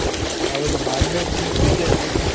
ಹೌದು ಮಾಡ್ಬೇಕು ಅಂತ ಇದ್ದೇವೆ.